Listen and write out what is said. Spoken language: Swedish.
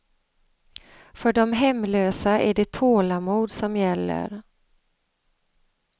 För de hemlösa är det tålamod som gäller.